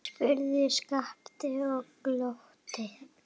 spurði Skapti og glotti.